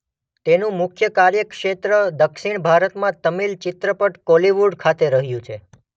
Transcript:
તેનું મુખ્ય કાર્યક્ષેત્ર દક્ષિણ ભારતમાં તમિલ ચિત્રપટ કોલીવુડ ખાતે રહ્યું છે.